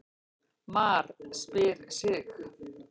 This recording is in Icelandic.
MAR SPYR SIG!